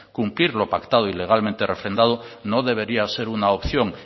cumplir lo pactado y legalmente refrendado no debería ser una opción